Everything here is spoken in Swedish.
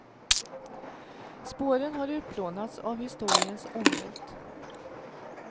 Spåren har utplånats av historiens ångvält.